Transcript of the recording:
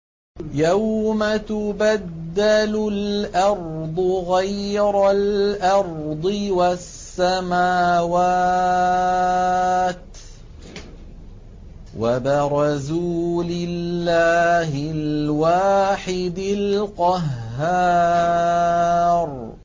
يَوْمَ تُبَدَّلُ الْأَرْضُ غَيْرَ الْأَرْضِ وَالسَّمَاوَاتُ ۖ وَبَرَزُوا لِلَّهِ الْوَاحِدِ الْقَهَّارِ